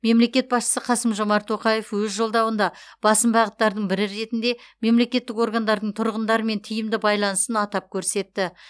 мемлекет басшысы қасым жомарт тоқаев өз жолдауында басым бағыттардың бірі ретінде мемлекеттік органдардың тұрғындармен тиімді байланысын атап көрсетті